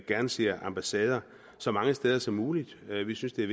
gerne ser ambassader så mange steder som muligt vi vi synes det er